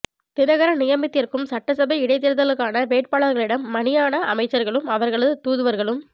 தினகரன் நியமித்திருக்கும் சட்டசபை இடைத்தேர்தலுக்கான வேட்பாளர்களிடம் மணியான அமைச்சர்களும் அவர்களது தூதுவர்களும்